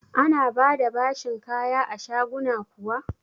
Ana ba da bashin kaya a shaguna kuwa?